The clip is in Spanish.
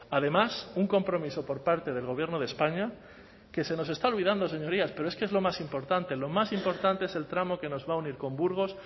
además un compromiso por parte del gobierno de españa que se nos está olvidando señorías pero es que es lo más importante lo más importante es el tramo que nos va a unir con burgos